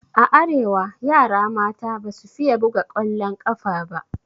A arewa yara mata basu fiye buga ƙwallon ƙafa ba.